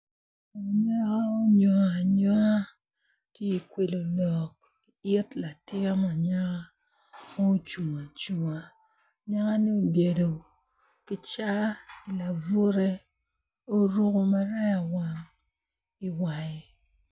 Anyaka onyongo anyonga ti ikwilo lok i it latin anyaka mucung acunga anyaka-ni obyelo ki ca i labure oruku maraya wang i wange